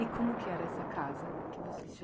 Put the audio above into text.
E como que era essa casa que vocês